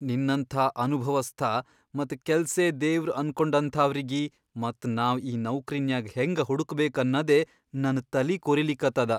ನಿನ್ನಂಥಾ ಅನುಭವಸ್ಥ ಮತ್ ಕೆಲ್ಸೇ ದೇವ್ರ್ ಅನ್ಕೊಂಡಂಥಾವ್ರಿಗಿ ಮತ್ ನಾವ್ ಈ ನೌಕ್ರಿನ್ಯಾಗ್ ಹೆಂಗ ಹುಡಕ್ಬೇಕ್ ಅನ್ನದೇ ನನ್ ತಲಿ ಕೊರಿಲಿಕತ್ತದ.